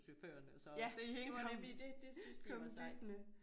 Ja det var nemlig det det syntes de var sejt